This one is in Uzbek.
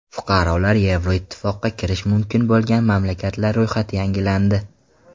Fuqarolari Yevroittifoqqa kirishi mumkin bo‘lgan mamlakatlar ro‘yxati yangilandi.